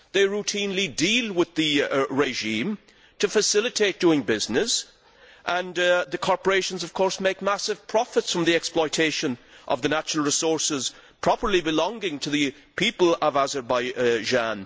They routinely deal with the regime to facilitate doing business, and the corporations make massive profits from the exploitation of the natural resources properly belonging to the people of Azerbaijan.